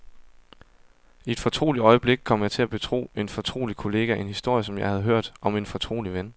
I et fortroligt øjeblik kom jeg til at betro en fortrolig kollega en historie, jeg havde hørt om en fortrolig ven.